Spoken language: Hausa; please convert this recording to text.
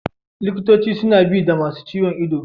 Likitoci suna bi da masun ciwo.